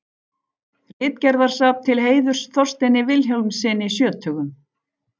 Ritgerðasafn til heiðurs Þorsteini Vilhjálmssyni sjötugum.